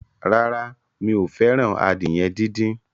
Rárá, mi ò fẹ́ràn adìyẹ díndín.